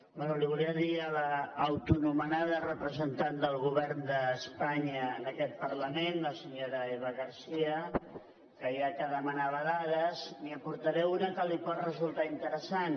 bé volia dir a l’autoanomenada representant del govern d’espanya en aquest parlament la senyora eva garcía que ja que demanava dades n’hi aportaré una que li pot resultar interessant